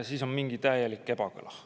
Siin on mingi täielik ebakõla.